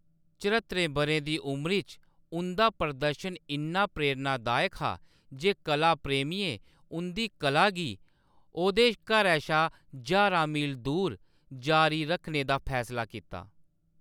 चरहत्तरें बʼरें दी उमरी च उंʼदा प्रदर्शन इन्ना प्रेरणादायक हा जे कला प्रेमियें उंʼदी कला गी ओह्‌‌‌दे घरै शा ज्हारां मील दूर जारी रक्खने दा फैसला कीता।